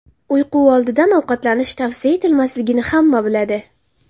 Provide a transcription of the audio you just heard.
Uyqu oldidan ovqatlanish tavsiya etilmasligini hamma biladi.